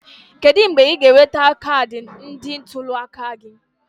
Kedu mgbe ị ga-enweta kaadị ndị ntuli aka gị?